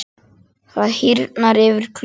Það hýrnar yfir Klöru.